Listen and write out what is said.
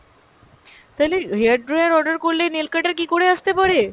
তালে hair dryer order করলে nail cuter কী করে আসতে পারে?